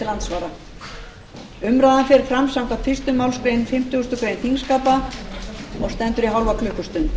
andsvara umræðan fer fram samkvæmt fyrstu málsgrein fimmtugustu grein þingskapa og stendur í hálfa klukkustund